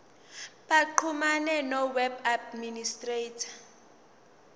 baxhumane noweb administrator